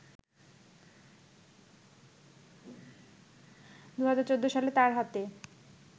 ২০১৪ সালে তার হাতে